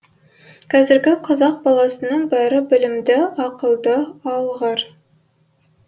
қазіргі қазақ баласының бәрі білімді ақылды алғыр